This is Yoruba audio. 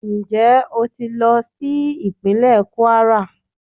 Njẹ o ti lọ si ipinlẹ kwara?